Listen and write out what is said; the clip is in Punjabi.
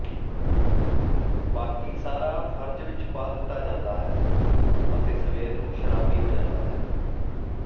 ਬਾਕੀ ਸਾਰਾ ਫਰਜ ਵਿੱਚ ਪਾ ਦਿੱਤਾ ਜਾਂਦਾ ਹੈ ਅਤੇ ਸਵੇਰ ਨੂੰ ਸ਼ਰਾਬੀ ਹੋ ਜਾਂਦਾ ਹੈ